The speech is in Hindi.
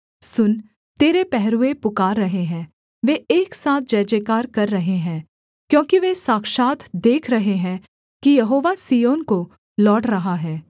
सुन तेरे पहरूए पुकार रहे हैं वे एक साथ जयजयकार कर रहें हैं क्योंकि वे साक्षात् देख रहे हैं कि यहोवा सिय्योन को लौट रहा है